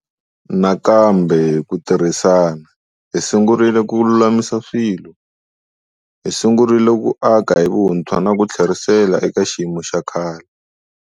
Nakambe, hi ku tirhisana, hi sungurile ku lulamisa swilo. Hi sungurile ku aka hi vuntshwa na ku tlherisela eka xiyimo xa khale.